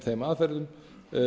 þeim aðferðum